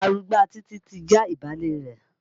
Arugbá Títí ti já ìbálẹ̀ rẹ̀.